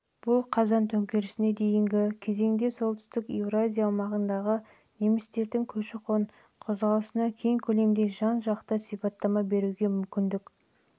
бұл қазан төңкерісіне дейінгі кезеңде солтүстік еуразия аумағындағы немістердің көші-қон қозғалысына кең көлемді жан-жақты сипаттама беруге мүмкіндік